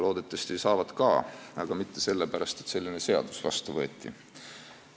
Loodetavasti saab ka, aga mitte sellepärast, et selline seadus vastu võeti.